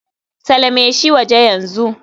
Salame shi waje yanzu.